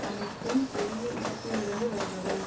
அனைத்தும் பெரிய இடத்திலிருந்து வருபவை